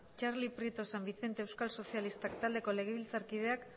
txali prieto san vicente euskal sozialistak taldeko legebiltzarkideak